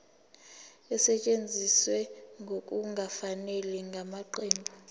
esetshenziswe ngokungafanele ngamaqembu